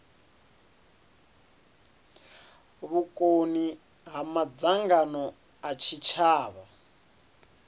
vhukoni ha madzangano a tshitshavha